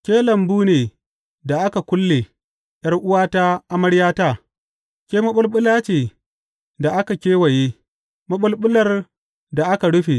Ke lambu ne da aka kulle, ’yar’uwata, amaryata; ke maɓulɓula ce da aka kewaye, maɓulɓular da aka rufe.